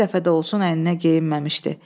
Bir dəfə də olsun əyninə geyinməmişdi.